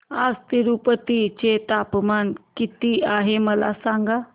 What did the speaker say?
आज तिरूपती चे तापमान किती आहे मला सांगा